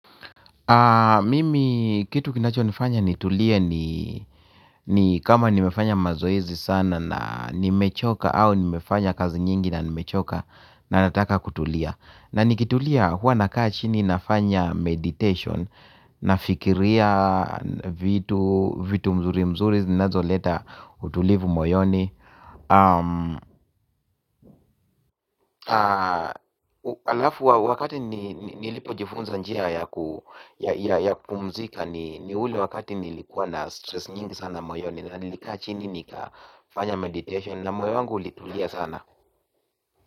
Mimi kitu kinachonifanya nitulie ni ni kama nimefanya mazoezi sana na nimechoka au nimefanya kazi nyingi na nimechoka na nataka kutulia. Na nikitulia huwa nakaa chini nafanya meditation nafikiria vitu mzuri mzuri zinazoleta utulivu moyoni alafu wakati nilipojifunza njia ya kupumzika ni ule wakati nilikuwa na stress nyingi sana moyoni. Na nilikaa chini nikafanya meditation. Na moyo wangu ulitulia sana.